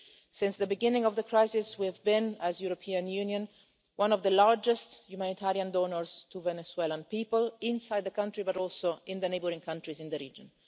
UN. Since the beginning of the crisis we, the European Union, have been one of the largest humanitarian donors to the Venezuelan people inside the country, but also in the neighbouring countries in the region.